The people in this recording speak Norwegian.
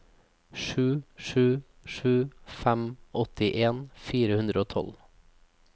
sju sju sju fem åttien fire hundre og tolv